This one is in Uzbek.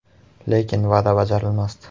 Lekin va’da bajarilmasdi.